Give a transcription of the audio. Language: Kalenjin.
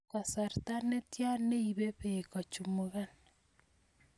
kasarta netian neibe beek kochumugan